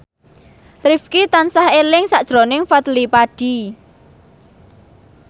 Rifqi tansah eling sakjroning Fadly Padi